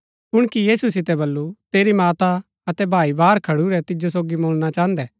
कुणकी यीशु सितै वल्‍लु तेरी माता अतै भाई बाहर खडुरै तिजो सोगी मुळणा चाहन्दै